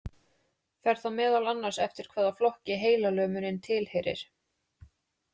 Fer það meðal annars eftir hvaða flokki heilalömunin tilheyrir.